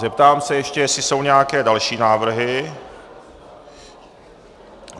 Zeptám se ještě, jestli jsou nějaké další návrhy.